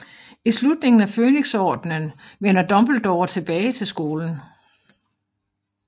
I slutningen af Fønixordenen vender Dumbledore tilbage til skolen